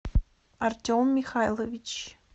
артем михайлович